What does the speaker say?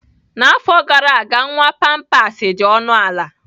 N'afọ gara aga, nwa pampers dị ọnụ ala.